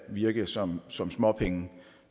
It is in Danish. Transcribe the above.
virke som som småpenge